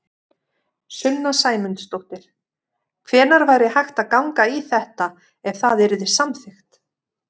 Sunna Sæmundsdóttir: Hvenær væri hægt að ganga í þetta, ef það yrði samþykkt?